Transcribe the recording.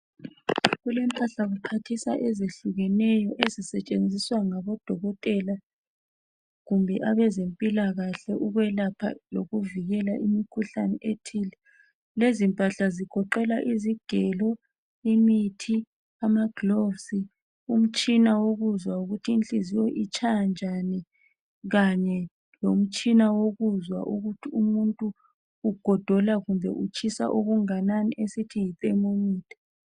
kulempahlkuphathisa ezihlukeneyo ezisetshenziswa ngabo dokotela kumbe abezempeilkahle ukwelapha kumbe ukuvikela imkhuhlane ethile lezi mpahla zigoqela izigelo imithi ama gloves umtshina wokuzwa ukuthi inhliziyo itshaya njani lomtshina wokuzwa ukuthi umzimba uyatshisa kumbe uqanda okungakanani esithi yithermometer